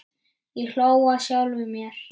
Ég hló að sjálfum mér.